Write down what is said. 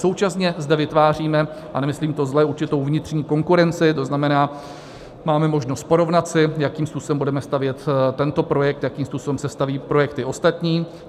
Současně zde vytváříme - a nemyslím to zle - určitou vnitřní konkurenci, to znamená, máme možnost porovnat si, jakým způsobem budeme stavět tento projekt, jakým způsobem se staví projekty ostatní.